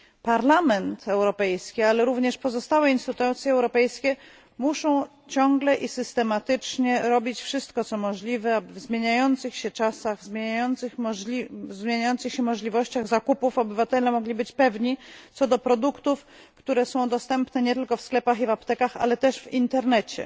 Parlament Europejski, ale również pozostałe instytucje europejskie muszą ciągle i systematycznie robić wszystko, co możliwe w zmieniających się czasach, w zmieniających się możliwościach zakupów, by obywatele mogli być pewni co do produktów, które są dostępne nie tylko w sklepach i aptekach, ale też w internecie.